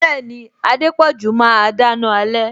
Bẹẹni, Adepoju máa dáná alẹ